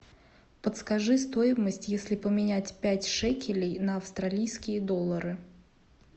подскажи стоимость если поменять пять шекелей на австралийские доллары